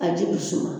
A ji bi suma